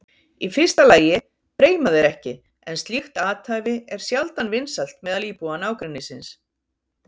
Í fyrsta lagi breima þeir ekki en slíkt athæfi er sjaldan vinsælt meðal íbúa nágrennisins.